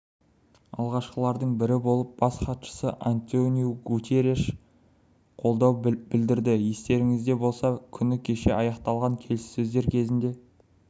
алғашқылардың бірі болып бас хатшысы антониу гутерриш қолдау білдірді естеріңізде болса күні кеше аяқталған келіссөздер кезінде